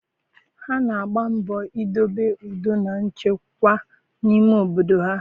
Ha na-agba mbọ idobe udo na nchekwa n'ime obodo ha.